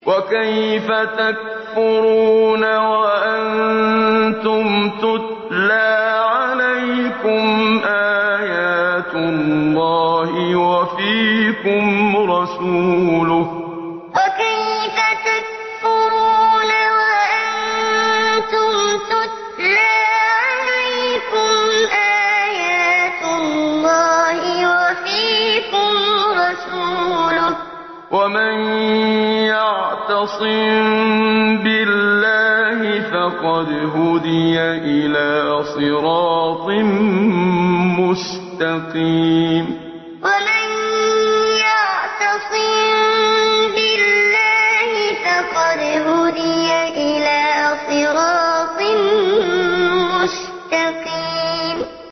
وَكَيْفَ تَكْفُرُونَ وَأَنتُمْ تُتْلَىٰ عَلَيْكُمْ آيَاتُ اللَّهِ وَفِيكُمْ رَسُولُهُ ۗ وَمَن يَعْتَصِم بِاللَّهِ فَقَدْ هُدِيَ إِلَىٰ صِرَاطٍ مُّسْتَقِيمٍ وَكَيْفَ تَكْفُرُونَ وَأَنتُمْ تُتْلَىٰ عَلَيْكُمْ آيَاتُ اللَّهِ وَفِيكُمْ رَسُولُهُ ۗ وَمَن يَعْتَصِم بِاللَّهِ فَقَدْ هُدِيَ إِلَىٰ صِرَاطٍ مُّسْتَقِيمٍ